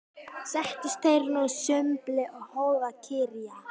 Settust þeir nú að sumbli og hófu að kyrja